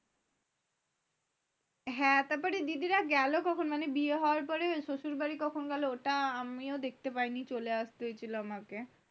হ্যাঁ, তারপরে দিদিরা গেল কখন? মানে বিয়ে হওয়ার পরে শশুর বাড়ী কখন গেল? তা আমি ও দেখতে পারিনি চলে আসতে হয়েছিল আমাকে।